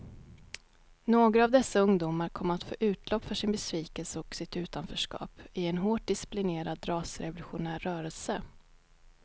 Några av dessa ungdomar kom att få utlopp för sin besvikelse och sitt utanförskap i en hårt disciplinerad rasrevolutionär rörelse.